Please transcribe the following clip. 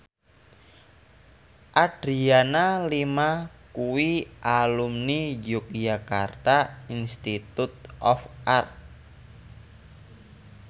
Adriana Lima kuwi alumni Yogyakarta Institute of Art